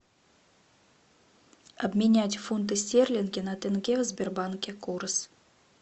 обменять фунты стерлинги на тенге в сбербанке курс